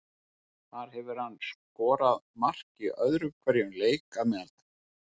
Þar hefur hann skorað mark í öðrum hverjum leik að meðaltali.